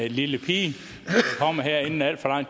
en lille pige her inden al for